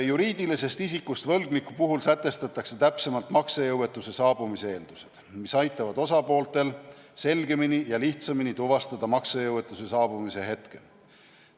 Juriidilisest isikust võlgniku puhul sätestatakse täpsemalt maksejõuetuse saabumise eeldused, mis aitavad osapooltel selgemini ja lihtsamini tuvastada maksejõuetuse saabumise hetke.